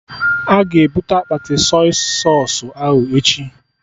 Aga ebute akpati Sọy sausụ ahụ echi?